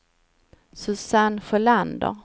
Susanne Sjölander